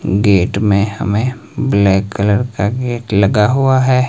Gate में हमें black colour का गेट लगा हुआ है।